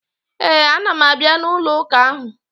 Ee, ana m abịa n'ụlọụka ahụ.